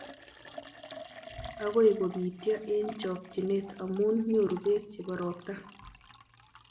Agoi kobityo eng chokchinet amu nyuru beek chebo robta